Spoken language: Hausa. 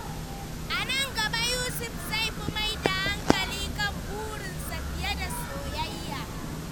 A nan gaba, Yusuf zai fi mai da hankali kan burinsa fiye da soyayya.